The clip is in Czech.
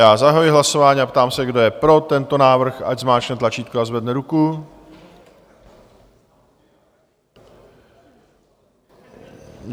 Já zahajuji hlasování a ptám se, kdo je pro tento návrh, ať zmáčkne tlačítko a zvedne ruku.